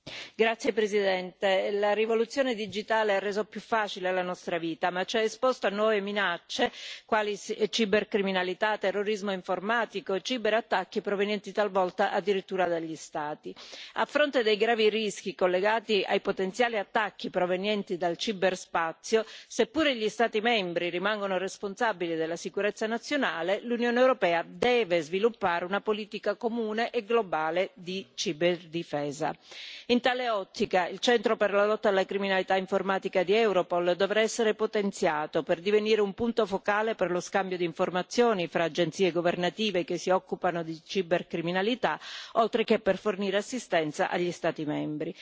Signora Presidente, onorevoli colleghi, la rivoluzione digitale ha reso più facile la nostra vita ma ci ha esposto a nuove minacce, quali cibercriminalità, terrorismo informatico e ciberattacchi provenienti talvolta addirittura dagli Stati. A fronte dei gravi rischi collegati ai potenziali attacchi provenienti dal ciberspazio, seppure gli Stati membri rimangano responsabili della sicurezza nazionale, l'Unione europea deve sviluppare una politica comune e globale di ciberdifesa. In tale ottica, il Centro per la lotta alla criminalità informatica di Europol dovrà essere potenziato per divenire un punto focale per lo scambio di informazioni fra agenzie governative che si occupano di cibercriminalità, oltre che per fornire assistenza agli Stati membri.